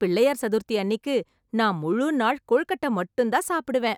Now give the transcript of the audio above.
பிள்ளையார் சதுர்த்தி அன்னிக்கு நான் முழு நாள் கொழுக்கட்டை மட்டும் தான் சாப்பிடுவேன்.